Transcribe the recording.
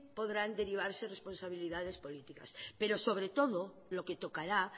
podrán derivarse responsabilidades políticas pero sobre todo lo que tocará